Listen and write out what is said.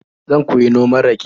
Zan koyi noman rake.